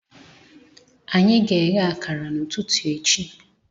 Anyị ga-eghe akara n'ụtụtụ echi